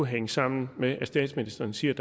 hænge sammen med at statsministeren siger